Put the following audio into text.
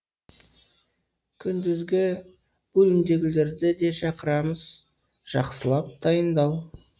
күндізгі бөлімдегілерді де шақырамыз жақсылап дайындал